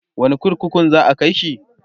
wani kurkukun za'a kaishi?